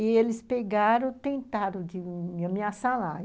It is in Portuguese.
E eles pegaram, tentaram de me ameaçar lá.